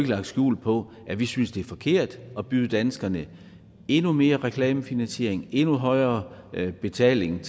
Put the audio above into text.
lagt skjul på at vi synes det er forkert at byde danskerne endnu mere reklamefinansiering og endnu højere betaling